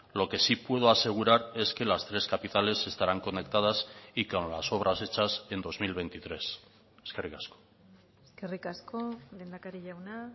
lo que sí puedo asegurar es que las tres capitales estarán conectadas y con las obras hechas en dos mil veintitrés eskerrik asko eskerrik asko lehendakari jauna